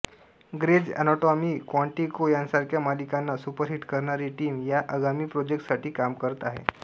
graze Anatomy Quantico यांसारख्या मालिकांना superhit करणारी टीम या आगामी प्रोजेक्टसाठी काम करते आहे